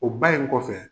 O ba in kɔfɛ